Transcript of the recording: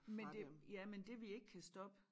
Men det ja men det vi ikke kan stoppe